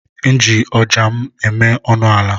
M ji ọja na-eme ọnụ ala.